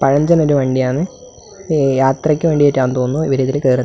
പഴഞ്ചൻ ഒരു വണ്ടിയാന്ന് പേ യാത്രയ്ക്ക് വേണ്ടിട്ടാന്ന് തോന്നുന്നു ഇവർ കേറുന്ന--